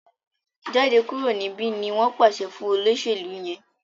Jáde kúrò níbí! ní wón pàṣẹ fún olóṣèlú yén.